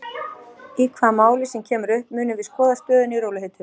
Í hvaða máli sem kemur upp munum við skoða stöðuna í rólegheitum.